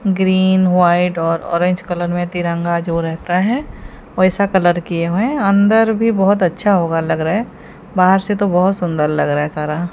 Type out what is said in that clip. Green white और orange colour में तिरंगा जो रहता है वैसा कलर किए हुए हैं। अंदर भी बहोत अच्छा होगा लग रहा है बाहर से तो बहोत सुंदर लग रहा है सारा।